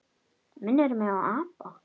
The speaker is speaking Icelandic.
Minnir mig á apa.